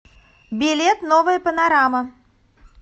билет новая панорама